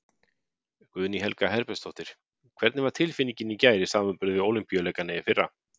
Guðný Helga Herbertsdóttir: Hvernig var tilfinningin í gær í samanburði við Ólympíuleikana í fyrra?